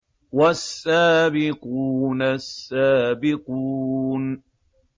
وَالسَّابِقُونَ السَّابِقُونَ